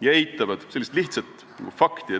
ja eitavad lihtsat fakti.